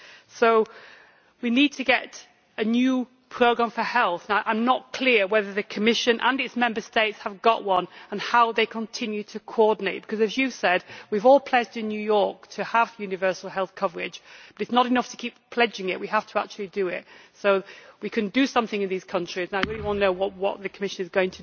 So we need to have a new programme for health and I am not clear whether the Commission and its Member States have got one and how they continue to coordinate because as you said, we all pledged in New York to have universal health coverage but it is not enough to keep pledging it, we have to actually do it. So, we can do something in these countries, and I really want to know what it is the Commission is going to do.